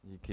Díky.